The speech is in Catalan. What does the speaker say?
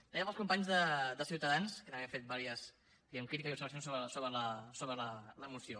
també per als companys de ciutadans que també han fet diverses diguem ne crítiques i observacions sobre la moció